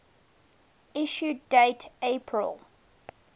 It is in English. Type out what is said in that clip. issue date april